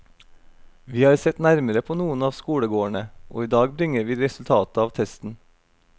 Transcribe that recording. Vi har sett nærmere på noen av skolegårdene, og i dag bringer vi resultatet av testen.